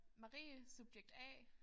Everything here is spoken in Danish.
Marie subjekt A